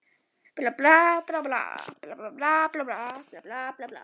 Allir vita að mesta yndi norna er að éta barnakjöt.